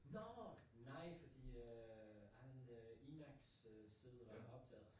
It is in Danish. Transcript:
Nåh! Nej fordi øh han øh iMax sæde var optaget